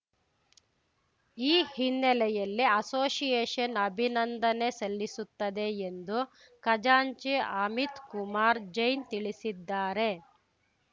ಈ ಹಿನ್ನೆಲೆಯಲ್ಲಿ ಅಷೋಷಿಯೇಷನ್‌ ಅಭಿನಂದನೆ ಸಲ್ಲಿಸುತ್ತದೆ ಎಂದು ಖಜಾಂಚಿ ಅಮಿತ್‌ ಕುಮಾರ್‌ ಜೈನ್‌ ತಿಳಿಸಿದ್ದಾರೆ